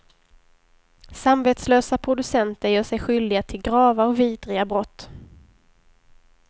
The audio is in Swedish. Samvetslösa producenter gör sig skyldiga till grava och vidriga brott.